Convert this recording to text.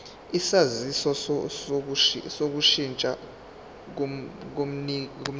isaziso sokushintsha komnikazi